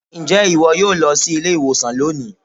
Ǹjẹ́ ìwọ yóò lọ sí ilé-ìwòsàn lónìị?